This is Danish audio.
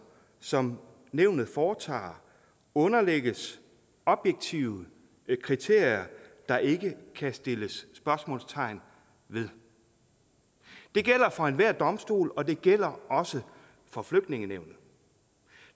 som nævnet foretager underlægges objektive kriterier der ikke kan stilles spørgsmålstegn ved det gælder for enhver domstol og det gælder også for flygtningenævnet